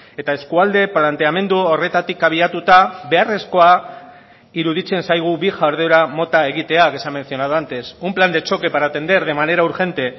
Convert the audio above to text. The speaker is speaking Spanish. eta eskualde planteamendu horretatik abiatuta beharrezkoa iruditzen zaigu bi jarduera mota egitea que se ha mencionado antes un plan de choque para atender de manera urgente